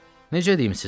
Necə deyim sizə?